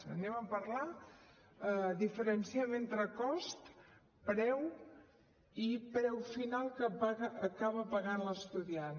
en parlem diferenciem entre cost preu i preu final que acaba pagant l’estudiant